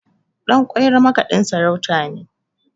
Ɗanƙwairo makaɗin sarautar ne